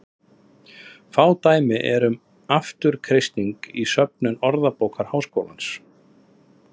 Fá dæmi eru um afturkreisting í söfnum Orðabókar Háskólans.